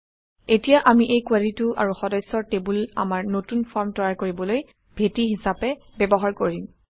এতিয়া আমি এই কুৱেৰিটো আৰু সদস্যৰ টেবুল আমাৰ নতুন ফৰ্ম তৈয়াৰ কৰিবলৈ ভেটি হিচাপে ব্যৱহাৰ কৰিম